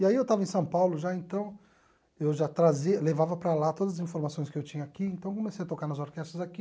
E aí eu estava em São Paulo, já, então eu já trazia levava para lá todas as informações que eu tinha aqui, então comecei a tocar nas orquestras aqui,